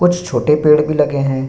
कुछ छोटे पेड़ भी लगे हैं।